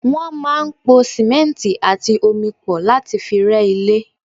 Wọ́n máa ń pò simẹnti àti omi pọ̀ láti fi rẹ́ ilé.